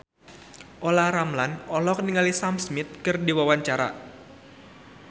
Olla Ramlan olohok ningali Sam Smith keur diwawancara